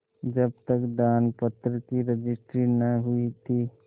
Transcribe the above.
जब तक दानपत्र की रजिस्ट्री न हुई थी